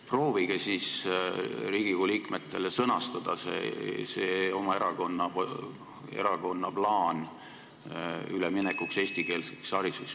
Proovige siis Riigikogu liikmetele sõnastada oma erakonna plaan üleminekuks eestikeelsele haridusele.